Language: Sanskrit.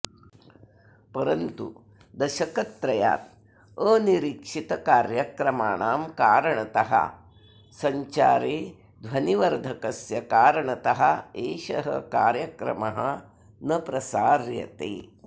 परन्तु दशकत्रयात् अनिरीक्षितकार्यक्रमाणां कारणतःसञ्चारेध्वनिवर्धकस्य कारणतः एषः कार्यक्रमः न प्रसार्यते